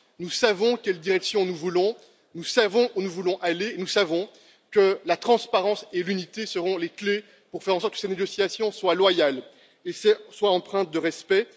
Nous savons quelle direction nous voulons, nous savons où nous voulons aller, nous savons que la transparence et l'unité seront essentielles pour faire en sorte que ces négociations soient loyales et empreintes de respect.